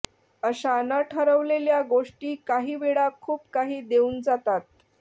अशा न ठरवलेल्या गोष्टी काही वेळा खूप काही देऊन जातात